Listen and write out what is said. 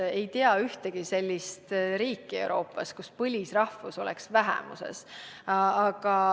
Ma ei tea ühtegi sellist Euroopa riiki, kus põlisrahvus oleks vähemuses.